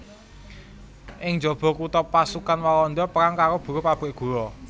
Ing njaba kutha pasukan Walanda perang karo buruh pabrik gula